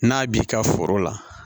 N'a b'i ka foro la